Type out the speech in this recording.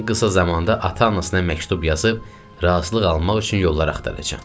Ən qısa zamanda ata-anasına məktub yazıb razılıq almaq üçün yollar axtaracam.